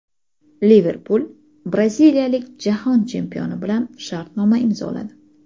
"Liverpul" braziliyalik Jahon chempioni bilan shartnoma imzoladi.